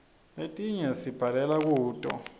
letinye sibhalela kuto